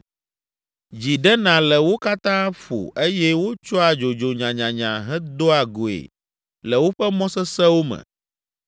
Dzi ɖena le wo katã ƒo eye wotsɔa dzodzo nyanyanya hedoa goe le woƒe mɔ sesẽwo me.